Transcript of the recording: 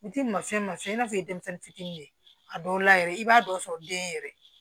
Ni t'i ma fɛn masinɛ i n'a fɔ i ye denmisɛnnin fitiinin ye a dɔw la yɛrɛ i b'a dɔ sɔrɔ den yɛrɛ